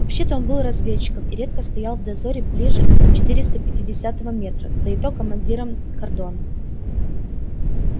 вообще-то он был разведчиком и редко стоял в дозоре ближе четыреста пятидесятого метра да и то командиром кордона